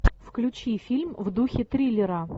включи фильм в духе триллера